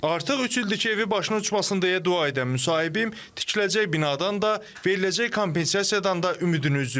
Artıq üç ildir ki, evi başına uçmasın deyə dua edən müsahibim tikiləcək binadan da, veriləcək kompensasiyadan da ümidini üzüb.